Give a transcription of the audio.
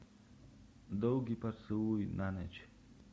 долгий поцелуй на ночь